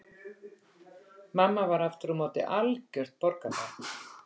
Mamma var aftur á móti algjört borgarbarn.